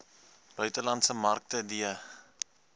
buitelandse markte d